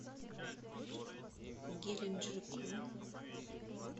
геленджику